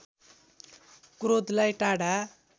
क्रोधलाई टाढा